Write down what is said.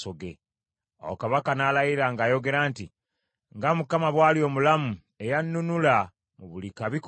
Awo kabaka n’alayira ng’ayogera nti, “Nga Mukama bw’ali omulamu eyannunula mu buli kabi konna;